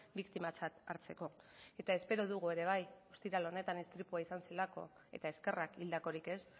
biktimatzat hartzeko eta espero dugu ere bai ostiral honetan istripua izan zela eta eskerrak hildakorik ez